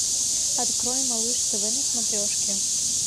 открой малыш тв на смотрешке